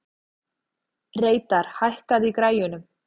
Reidar, hækkaðu í græjunum.